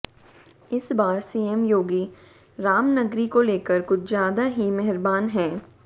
इस बार सीएम योगी रामनगरी को लेकर कुछ ज्यादा ही मेहरबान हैं